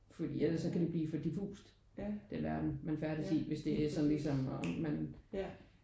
Fordi ellers så kan det blive for diffust den verden man færdes i hvis det er ligesom og man